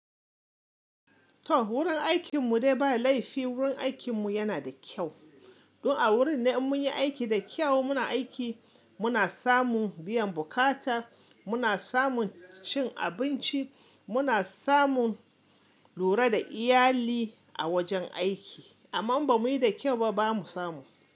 To wurin aikin mu dai ba laifi wurin aikin mu yana da kyau. Don a wurin nan in mun yi aiki da kyau muna aiki muna samun biyan bukata, muna samun cin abinci, muna samun lura da iyali a wajen aiki amma inba muyi da kyau ba ba mu samu.